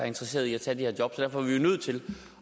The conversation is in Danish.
interesseret i at tage de her job så derfor er vi nødt til